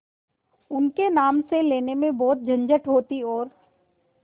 उनके नाम से लेने में बहुत झंझट होती और